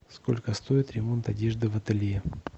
сколько стоит ремонт одежды в ателье